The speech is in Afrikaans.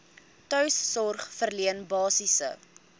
tuissorg verleen basiese